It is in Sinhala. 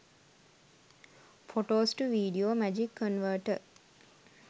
photos to video magic converter